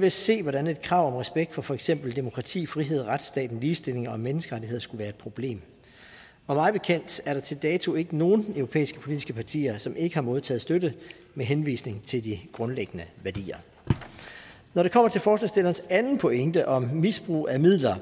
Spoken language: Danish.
ved at se hvordan et krav om respekt for for eksempel demokrati frihed retsstat ligestilling og menneskerettigheder skulle være et problem og mig bekendt er der til dato ikke nogen europæiske politiske partier som ikke har modtaget støtte med henvisning til de grundlæggende værdier når det kommer til forslagsstillernes anden pointe om misbrug af midler